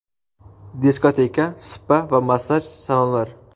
diskoteka, spa va massaj salonlar;.